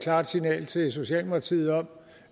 klart signal til socialdemokratiet om